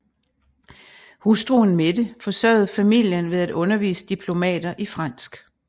Hustruen Mette forsørgede familien ved at undervise diplomater i fransk